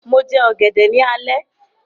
Mo jẹ ọ̀gẹ̀dẹ̀ ní alẹ́